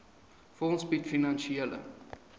fonds bied finansiële